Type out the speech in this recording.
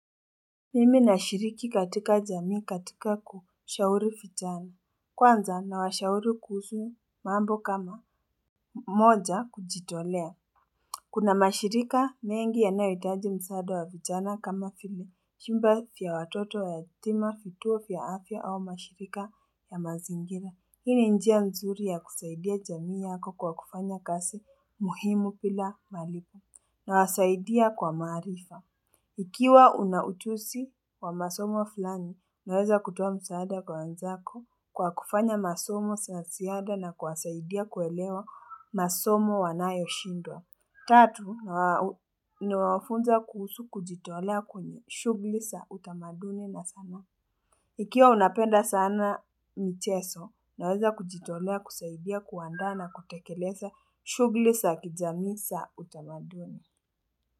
Mimi na shiriki katika jamii katika kushauri vijana Kwanza na washauri kuhusu mambo kama moja kujitolea Kuna mashirika mengi yanayohitaji msaada wa vijana kama vile vyumba vya watoto yatima vituo vya afya au mashirika ya mazingira Hii njia nzuri ya kusaidia jamii yako kwa kufanya kazi muhimu bila malipo nawasaidia kwa maarifa Ikiwa unaujuzi wa masomo fulani, unaweza kutowa msaada kwa wanzako kwa kufanya masomo za ziada na kuwasaidia kuelewa masomo wanayo shindwa. Tatu, na wafunza kuhusu kujitolea kwenye shughuli za utamaduni na sanaa. Ikiwa unapenda sana mchezo, naweza kujitolea kusaidia kuaanda na kutekeleza shughuli za kijamii za utamaduni.